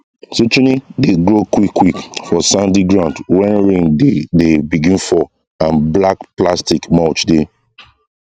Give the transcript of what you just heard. zucchini dey grow quick quick for sandy ground when rain dey dey begin fall and black plastic mulch dey